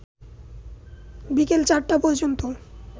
বিকেল ৪টা পর্যন্ত